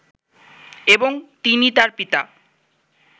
এবং তিনি তার পিতা